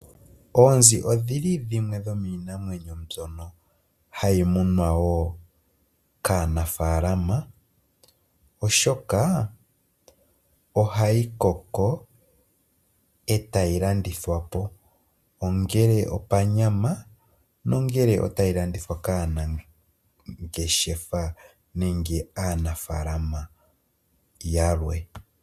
Oonzi dhimwe dhomiinamwenyo mbyono hayi munwa kaanafaalama oshoka ohayi koko e tayi landithwa po. Ongele opanyama nenge tayi landithwa kaanangeshefa nenge aanafaalama yalwe.